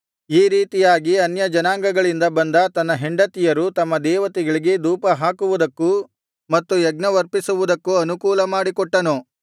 ಈ ರೀತಿಯಾಗಿ ಅನ್ಯಜನಾಂಗಗಳಿಂದ ಬಂದ ತನ್ನ ಹೆಂಡತಿಯರು ತಮ್ಮ ದೇವತೆಗಳಿಗೆ ಧೂಪಹಾಕುವುದಕ್ಕೂ ಮತ್ತು ಯಜ್ಞವರ್ಪಿಸುವುದಕ್ಕೂ ಅನುಕೂಲ ಮಾಡಿಕೊಟ್ಟನು